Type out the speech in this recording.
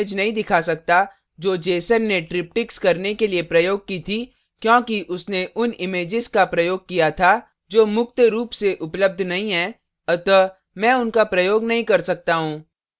मैं आपको वह image नहीं दिखा सकता जो jeson ने triptychs करने के लिए प्रयोग की थी क्योंकि उसने उन images का प्रयोग किया था जो मुक्त रूप से उपलब्ध नहीं हैं अतः मैं उनका प्रयोग नहीं कर सकता he